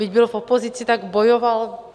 Byť byl v opozici, tak bojoval...